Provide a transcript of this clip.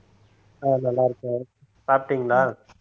அஹ் நல்லா இருக்கேன் சாப்பிட்டீங்களா